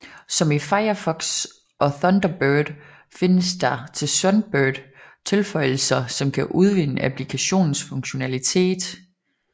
Som i Firefox og Thunderbird findes der til Sunbird tilføjelser som kan udvide applikationens funktionalitet